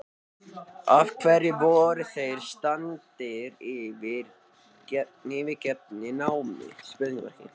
Af hverju voru þeir staddir í yfirgefinni námu?